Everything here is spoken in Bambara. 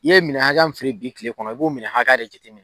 I ye minɛn hakɛya min feere bi kile kɔnɔ i b'o minɛn hakɛya de jate minɛ